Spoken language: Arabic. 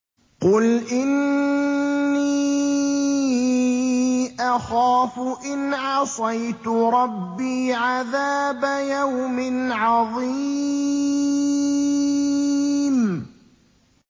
قُلْ إِنِّي أَخَافُ إِنْ عَصَيْتُ رَبِّي عَذَابَ يَوْمٍ عَظِيمٍ